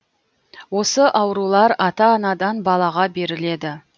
осы аурулар ата анадан балаға беріледі